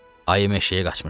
Ayı meşəyə qaçmışdı.